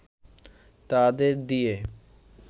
তাদের দিয়ে